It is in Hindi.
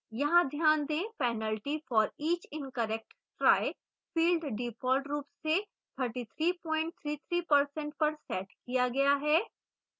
यहां ध्यान देंpenalty for each incorrect try field default रूप से 3333% पर set किया गया है